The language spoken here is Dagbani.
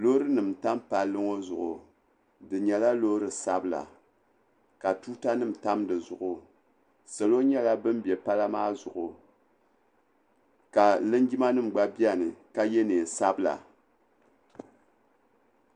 Loori nima tam palli ŋɔ zuɣu di yɛla loori sabila ka tuuta nima tam di zuɣu salo yɛla bam bɛ palla maa zuɣu ka lingimanima nima gba bɛni ka yiɛ nɛɛn sabila.